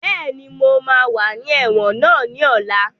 Bẹ́ẹ̀ni, mo máa wà ní ẹ̀wọ̀n náà ní ọ̀la